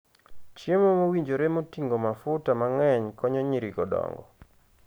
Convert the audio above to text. Chiemo mowinjore moting'o mafuta mang'eny konyo nyirigo dongo.